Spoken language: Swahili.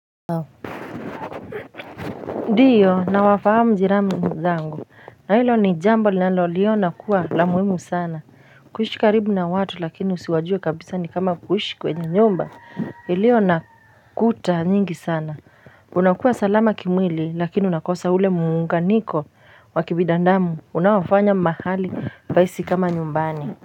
Ndiyo na wafahamu jirani wenzangu na hilo ni jambo ninaloliona kuwa la muhimu sana kuishi karibu na watu lakini siwajui kabisa ni kama kuishi kwenye nyumba ilio na kuta nyingi sana Unakuwa salama kimwili lakini unakosa ule muunganiko wa kibidandamu unaofanya mahali pahisi kama nyumbani.